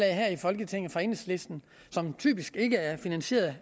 her i folketinget fra enhedslisten som typisk ikke er finansieret